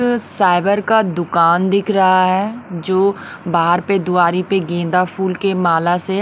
अह cyber का दुकान दिख रहा है जो बाहर पे द्वारी पे गेंदा फूल के माला से--